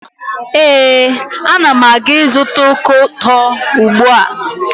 Ee, Ana m aga ịzụta ọka ụtọ ugbua.